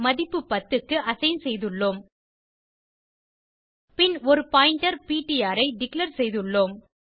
மதிப்பு 10 க்கு அசைன் செய்துள்ளோம் பின் ஒரு பாயிண்டர் பிடிஆர் ஐ டிக்ளேர் செய்துள்ளோம்